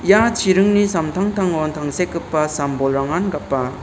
ia chiringni samtangtangon tangsekgipa sam-bolrangan gapa.